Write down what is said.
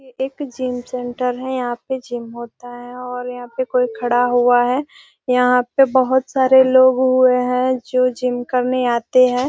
एक gym centre है यहां पे जिम होता है और यहां पे कोई खड़ा हुआ है यहां पे बहुत सारे लोग हुए है जो जिम करने आते है।